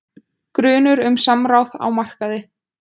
Grunur um samráð á markaði